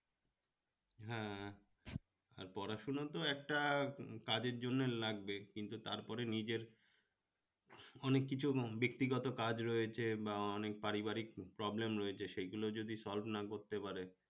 আর পড়াশোনা তো একটা কাজের জন্য লাগবে কিন্তু তারপরে নিজের অনেক কিছু ব্যক্তিগত কাজ রয়েছে বা অনেক পারিবারিক problem রয়েছে সেগুলো যদি solve না করতে পারে